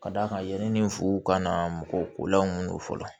Ka d'a kan yani fuw ka na mɔgɔ kolanw don fɔlɔ